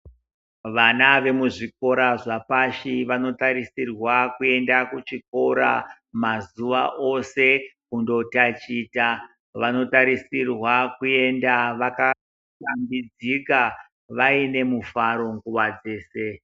Vana vemuzvikora zvepashi vantarisirwa kuenda kuchikora mazuwa ose kundotaticha. Vanotarisirwa kuenda vakashambidzika vainemufaro nguwa dzese.